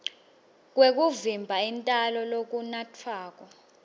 kwekuvimba intalo lokunatfwako